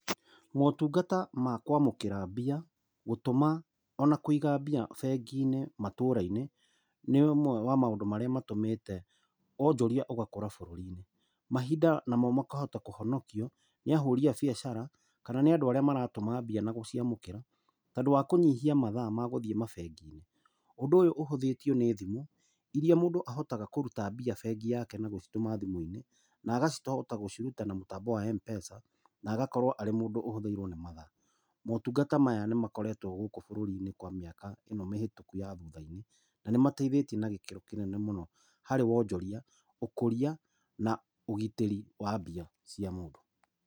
Motungata ma kwamũkĩra mbia, gũtũma ona kũiga mbia bengi-inĩ matura-inĩ, nĩ ũmwe wa maũndũ marĩa matũmĩte wonjoria ũgakũra bũrũri-inĩ. Mahinda namo makahota kũhonokio nĩ ahũri a biacara kana nĩ andũ arĩa maratũma mbia nagũciamũkĩra tondũ wa kunyihia mathaa magũthiĩ mabengi-inĩ. Ũndũ ũyũ ũhũthĩtio nĩ thimũ, iría mũndũ ahotaga kũruta mbia bengi-inĩ yake na gũcitũma thimũ-inĩ, na akahota gũciruta na mũtambo wa Mpesa, na agakorwo arĩ mũndũ ũhũthĩirwo nĩ mathaa. Motungata maya nĩ makoretwo gũkũ bũrũri-inĩ kwa mĩaka ĩno mĩhĩtũku ya thutha-inĩ, na nĩmateithĩtie na gĩkĩro kĩnene mũno harĩ wonjoria, ũkũria na ũgitĩri wa mbia cia mũndũ.